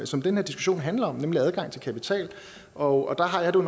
som den her diskussion handler om nemlig adgangen til kapital og der har jeg det